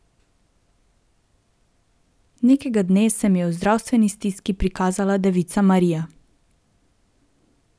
Nekega dne se mi je v zdravstveni stiski prikazala devica Marija.